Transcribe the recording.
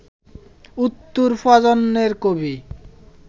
উত্তর প্রজন্মের কবি